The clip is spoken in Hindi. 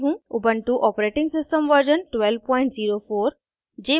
* ubuntu operating system version 1204